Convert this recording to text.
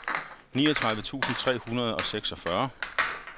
niogtredive tusind tre hundrede og seksogfyrre